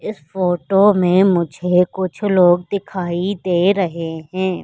इस फोटो में मुझे कुछ लोग दिखाई दे रहे हैं।